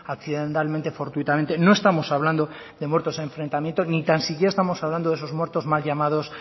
accidentalmente fortuitamente no estamos hablando de muertos a enfrentamientos ni tan siquiera estamos hablando de esos muertos mal llamados